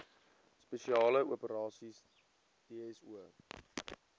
spesiale operasies dso